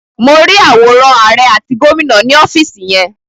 Mo rí àwòrán àrẹ àti gómìnà ni ọ́fìsì yẹn.